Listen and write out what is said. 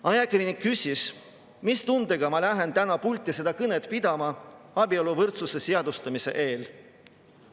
Ajakirjanik küsis, mis tundega ma lähen täna pulti kõnet pidama abieluvõrdsuse seadustamise eel.